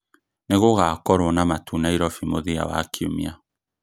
nĩ gũgakorwo na matu Nairobi mũthia wa kiumia